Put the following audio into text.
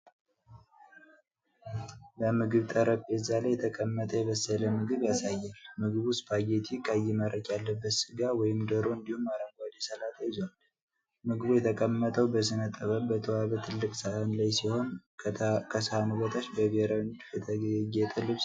በምግብ ጠረጴዛ ላይ የተቀመጠ የበሰለ ምግብ ያሳያል። ምግቡ ስፓጌቲ፣ ቀይ መረቅ ያለበት ሥጋ ወይም ዶሮ እንዲሁም አረንጓዴ ሰላጣ ይዟል። ምግቡ የተቀመጠው በሥነ-ጥበብ በተዋበ ትልቅ ሳህን ላይ ሲሆን፣ ከሳህኑ በታች በብሔራዊ ንድፍ የተጌጠ ልብስ ይታያል።